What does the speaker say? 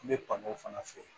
N bɛ pan o fana fɛ